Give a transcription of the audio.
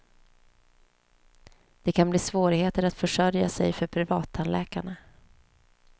Det kan bli svårigheter att försörja sig för privattandläkarna.